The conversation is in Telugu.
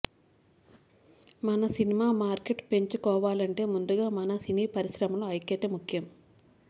మన సినిమా మార్కెట్ పెంచుకోవాలంటే ముందుగా మన సినీ పరిశ్రమలో ఐక్యత ముఖ్యం